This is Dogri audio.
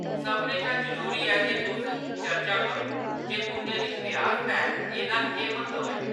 सभनें शा जरूरी ऐ जे तुस चर्चा करो जे तुंʼदे रिश्ते आस्तै एह्‌‌‌दा केह्‌‌ म्हत्तव ऐ।